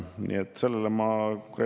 Nii et peab tunnistama, et jälle on meel kurb.